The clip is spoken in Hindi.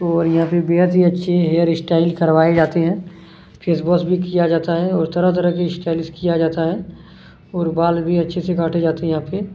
और यहाँ पे बेहद ही अच्छे हेयर स्टाइल करवाए जाते हैं फैस वॉश भी किया जाता हैं तरह-तरह की स्टाइल भी किया जाता हैं और बाल भी अच्छे से काटे जाते हैं यहाँ पे--